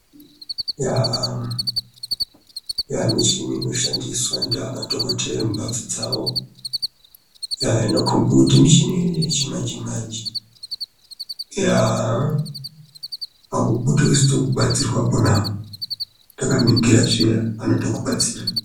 Eya michini inoshandiswa ndiana dhogodheya mumbatso dzawo, inokombe kuti michini yechimanje-manje, yaa haubudi usina kubatsira pona apo, takaningira zviya, anotokubatsira.